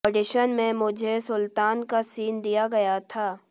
audition में मुझे सुल्तान का सीन दिया गया था